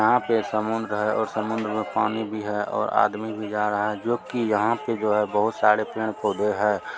यहाँ पर समुन्द्र है और समुन्द्र में पानी भी है और आदमी भी जा रहा है जो कि यहाँ पे जो है बहुत-सारे पेड़-पौधे है।